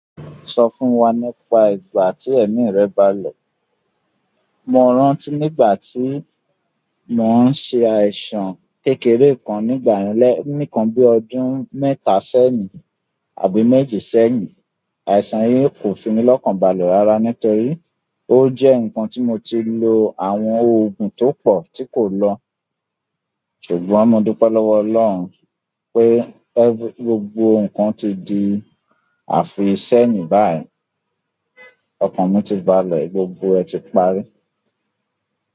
So fún wa nípa ìgbà ti emi re baale. Mo rántí nígbà tí mo n ṣe àìsàn kékeré kan nígbàyen lẹ̀, nì nkan bí ọdún mẹ́ta sẹ́yìn àbí méje sẹ́yìn. Àìsàn yìí kò fi mí lọ́kàn balẹ̀ rara nítorí ó jẹ́ nǹkan tí mo ti lo àwọn oògùn tó pọ̀ tí kò lọ. Ṣùgbọ́n mo dupe lowo ọlọ́run, pe, gbogbo nǹkan ti di afiseyin bayi. Ọkàn mi ti bàlẹ́, gbogbo ẹ̀ ti parí.